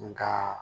Nga